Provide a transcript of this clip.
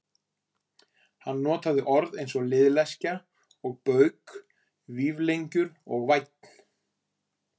Hann notaði orð eins og liðleskja og bauk, vífilengjur og vænn.